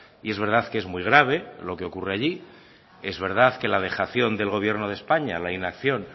y es verdad que es muy grave lo que ocurre allí es verdad que la dejación del gobierno de españa la inacción